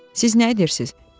Siz nə edirsiniz?